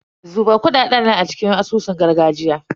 Zuba kuɗaɗen nan a cikin asusun gargajiya.